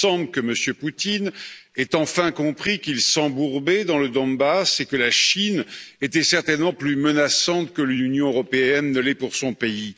Il semble que M. Poutine ait enfin compris qu'il s'embourbait dans le Donbass et que la Chine était certainement plus menaçante que l'Union européenne ne l'est pour son pays.